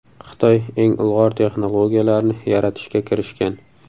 Xitoy eng ilg‘or texnologiyalarni yaratishga kirishgan.